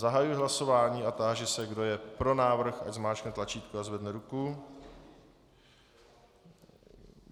Zahajuji hlasování a táži se, kdo je pro návrh, ať zmáčkne tlačítko a zvedne ruku.